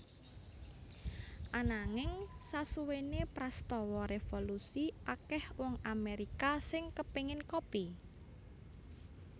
Ananging sasuwene prastawa revolusi akeh wong Amerika sing kepengen kopi